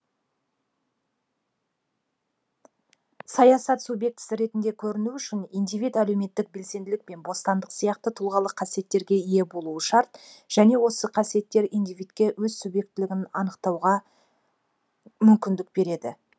саясат субъектісі ретінде көріну үшін индивид әлеуметтік белсенділік пен бостандық сияқты тұлғалық қасиеттерге ие болуы шарт және осы қасиеттер индивидке өз субъектілігін танытуға мүмкіндік береді